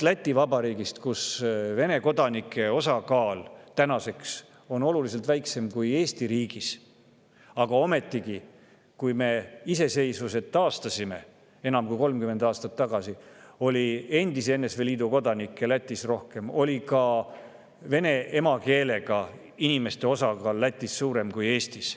Läti Vabariigis on Vene kodanike osakaal praegu oluliselt väiksem kui Eesti riigis, ometigi, enam kui 30 aastat tagasi, kui me iseseisvuse taastasime, oli Lätis endise NSV Liidu kodanikke rohkem, ka vene emakeelega inimeste osakaal oli Lätis suurem kui Eestis.